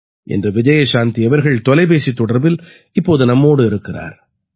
இன்று விஜயசாந்தி அவர்கள் தொலைபேசித் தொடர்பில் நம்மோடு இருக்கிறார்